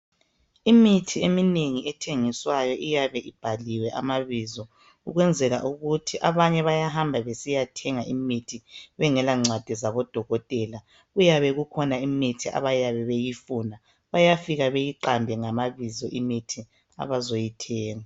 Imithi eminengi ethengiswayo iyabe ibhaliwe amabizo ukwenzela ukuthi abanye bayahamba besiyathenga imithi bengelancwadi zabodokotela. Kuyabe kukhona imithi abayabe beyifuna, bayafika beyiqambe ngamabizo imithi abazoyithenga.